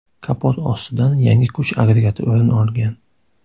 Kapot ostidan yangi kuch agregati o‘rin olgan.